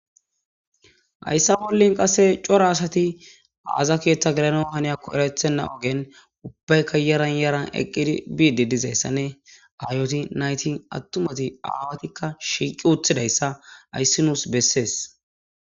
Haysa bolla qaseka cora asati aza ketha gelana haniyakon eretena ogen ubbayka yaran yaran eqidi dizaysa nne hayozi atumti naytine shiqidi uttidaysa haysi nusi beses